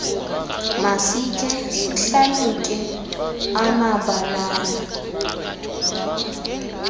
masikhe sihlalutye amabaalana